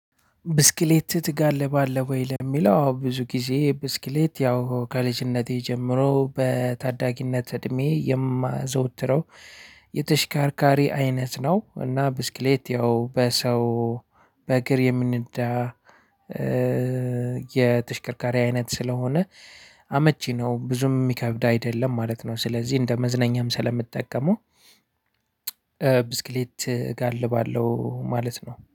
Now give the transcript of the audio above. ብስክሌት ትጋልባለህ ወይ? ለሚለው አዎ ብዙ ጊዜ ብስክሌት ያው ከልጅነቴ ጀምሮ በታዳጊነት እድሜ የማዘወትረው የተሽካርካሪ አይነት ነው። እና ብስክሌት ያው በሰው በእግር የሚነዳ። የተሽከርካሪ አይነት ስለሆነ አመቺ ነው ብዙም ሚከብድ አይደለም ማለት ነው። ስለዚህ እንደ መዝነኛም ስለምጠቀመው ብስክሌት እጋልባለሁ ማለት ነው